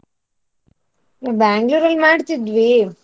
Bangalore ಅಲ್ ಮಾಡ್ತಿದ್ವಿ.